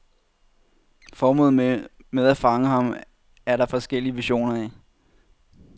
Formålet med at fange ham er der forskellige versioner af.